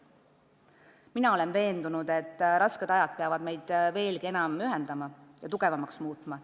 Mina olen veendunud, et rasked ajad peavad meid veelgi enam ühendama ja tugevamaks muutma.